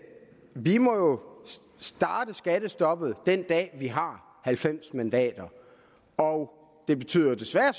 vi må starte skattestoppet den dag vi har halvfems mandater og det betyder jo desværre